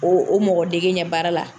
O o mɔgɔ dege ɲɛ baara la.